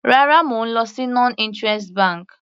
Rárá, mo lọ sí non interest bank.